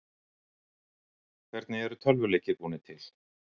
hvernig eru tölvuleikir búnir til